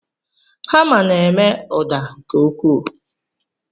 Hama na-eme ụda nke ukwuu.